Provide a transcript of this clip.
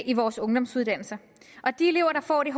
i vores ungdomsuddannelser de elever der får de